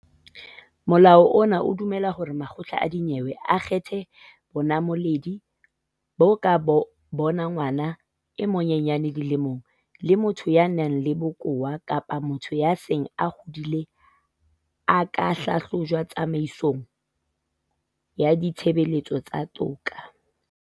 Molao ona o dumella hore makgotla a dinyewe a kgethe bonamoledi boo ka bona ngwana e monyenyane dilemong, le motho ya nang le bokowa kapa motho ya seng a hodile a ka hlahlojwa tsamaisong ya ditshebeletso tsa toka.